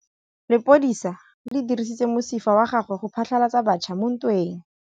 Lepodisa le dirisitse mosifa wa gagwe go phatlalatsa batšha mo ntweng.